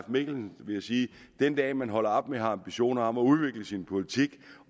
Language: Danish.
mikkelsen vil jeg sige at den dag man holder op med at have ambitioner om at udvikle sin politik